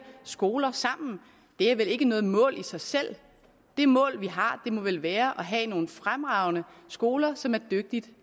skoler sammen det er vel ikke noget mål i sig selv det mål vi har må vel være at have nogle fremragende skoler som er dygtigt